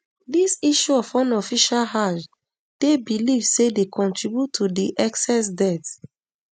dis issue of unofficial hajj dey believed say dey contribute to di excess deaths